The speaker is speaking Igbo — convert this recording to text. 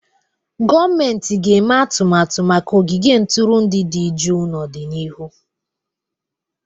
Gọọmentị ga-eme atụmatụ maka ogige ntụrụndụ dị jụụ n'ọdịnihu.